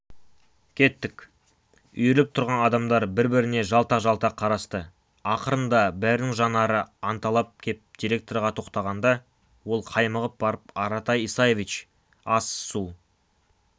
кеттік үйіріліп тұрған адамдар бір-біріне жалтақ-жалтақ қарасты ақырында бәрінің жанары анталап кеп директорға тоқтағанда ол қаймығып барып аратай исаевич ас-су